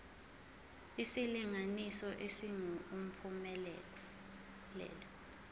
isilinganiso esingu uphumelele